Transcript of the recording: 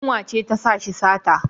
Yunwa ce ta sa shi sata.